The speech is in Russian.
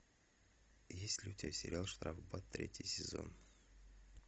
есть ли у тебя сериал штрафбат третий сезон